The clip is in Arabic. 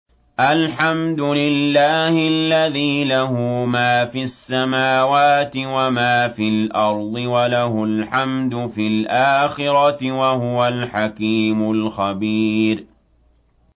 الْحَمْدُ لِلَّهِ الَّذِي لَهُ مَا فِي السَّمَاوَاتِ وَمَا فِي الْأَرْضِ وَلَهُ الْحَمْدُ فِي الْآخِرَةِ ۚ وَهُوَ الْحَكِيمُ الْخَبِيرُ